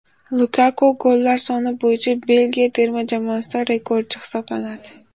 Lukaku gollar soni bo‘yicha Belgiya terma jamoasida rekordchi hisoblanadi.